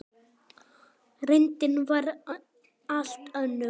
Reyndin var allt önnur.